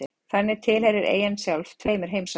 Þannig tilheyrir eyjan sjálf tveimur heimsálfum.